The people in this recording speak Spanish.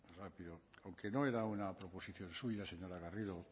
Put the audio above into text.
rápido aunque no era una proposición suya señora garrido